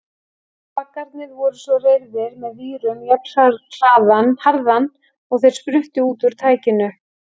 Baggarnir voru svo reyrðir með vírum jafnharðan og þeir spruttu út úr tækinu.